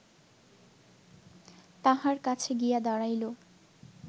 তাঁহার কাছে গিয়া দাঁড়াইল